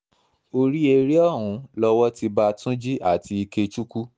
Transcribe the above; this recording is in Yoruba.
orí eré ọ̀hún lowó ti bá tunji àti ikechukwu